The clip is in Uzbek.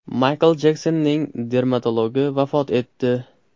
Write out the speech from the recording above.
Maykl Jeksonning dermatologi vafot etdi.